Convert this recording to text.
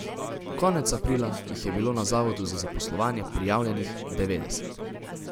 Konec aprila jih je bilo na zavodu za zaposlovanje prijavljenih devetdeset.